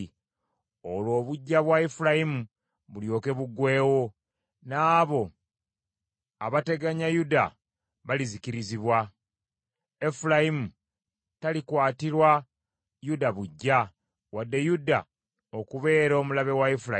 Olwo obuggya bwa Efulayimu bulyoke buggweewo, n’abo abateganya Yuda balizikirizibwa. Efulayimu talikwatirwa Yuda buggya wadde Yuda okubeera omulabe wa Efulayimu.